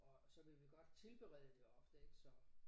Og så vil vi godt tilberede det ofte ik så